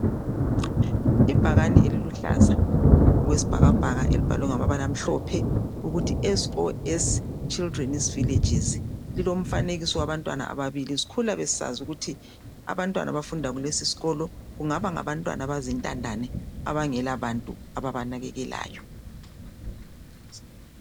Ibhakani eliluhlaza okwesibhakabhaka elibhalwe ngamabala amhlophe ukuthi SOS children's villages lilomfanekiso yabantwana abababili sikhula besisazi ukuthi abantwana abafunda kulesisikolo kungaba ngabantwana avazintandane abangela bantu ababanakekwlayo.